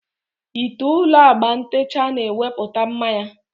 Ị te ụlọ agba ntecha na-ewepụta mma ya